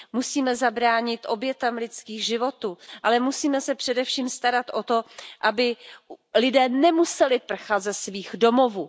Musíme zabránit obětem lidských životů, ale musíme se především starat o to, aby lidé nemuseli prchat ze svých domovů.